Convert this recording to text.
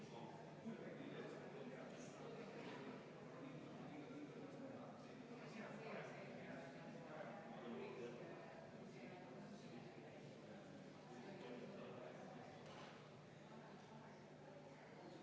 Panen hääletusele muudatusettepaneku nr 1, mille esitajaks on põhiseaduskomisjon ja juhtivkomisjon on seda arvestanud täielikult.